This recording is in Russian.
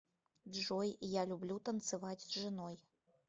джой я люблю танцевать с женой